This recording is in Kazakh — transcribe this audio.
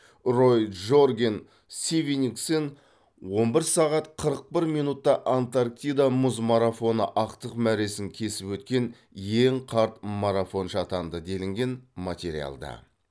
рой джорген свенингсен он бір сағат қырық бір минутта антарктида мұз марафоны ақтық мәресін кесіп өткен ең қарт марафоншы атанды делінген материалда